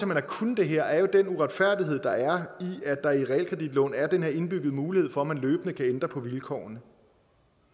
man har kunnet det her er jo den uretfærdighed der er i at der i realkreditlån er den her indbyggede mulighed for at man løbende kan ændre på vilkårene